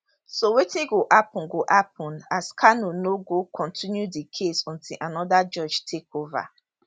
so wetin go happun go happun as kanu no go continue di case until anoda judge takeova